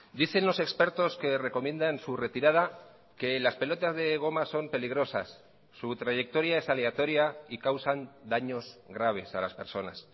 dicen los expertos que recomiendan su retirada que las pelotas de goma son peligrosas su trayectoria es aleatoria y causan daños graves a las personas